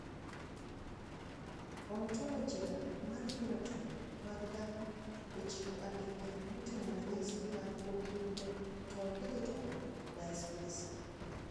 Ontologia mar phenotype mag dhano ochiwo andika moting`o ranyisi mag Oculodentodigital dysplasia.